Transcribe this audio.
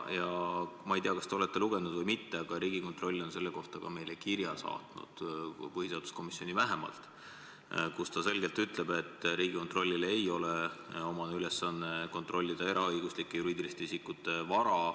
Ma ei tea, kas te olete seda lugenud või mitte, aga Riigikontroll on selle kohta meile kirja saatnud –põhiseaduskomisjoni vähemalt – ja selles ta ütleb selgelt, et Riigikontrollile ei ole omane ülesanne kontrollida eraõiguslike juriidiliste isikute vara.